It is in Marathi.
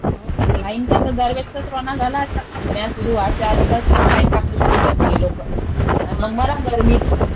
हो. हे लाईनचा तर दर वेळेसचाच रोना झालाय आता. उन्हाळा सुरु व्हायच्या आधीपासूनच लाईन कापणं सुरु करते हे लोकं. अन मग मरा गर्मीत.